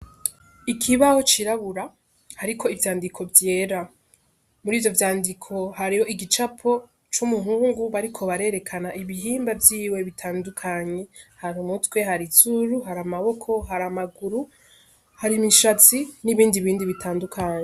Ikibaho cirabura hariko ivyandiko vyera, muri ivyo vyandiko hariho igicapo c'umuhungu bariko barerekana ibihimba vyiwe bitandukanye hari umutwe hari izuru, hari amaboko, hari amaguru, hari imishatsi n'ibindi bindi bitandukanye.